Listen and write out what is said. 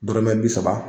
Dɔrɔmɛ bi saba